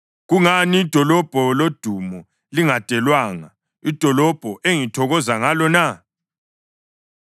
Kungani idolobho lodumo lingadelwanga, idolobho engithokoza ngalo na?